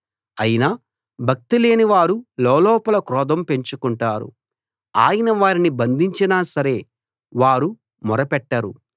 అయినా భక్తిలేని వారు లోలోపల క్రోధం పెంచుకుంటారు ఆయన వారిని బంధించినా సరే వారు మొర పెట్టరు